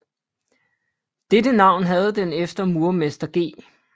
Dette navn havde den efter murermester G